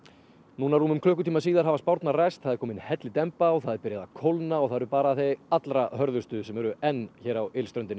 núna rúmum klukktíma síðar hafa spárnar ræst það er komin hellidemba það er byrjað að kólna og það eru bara þau allra hörðustu sem eru enn hérna á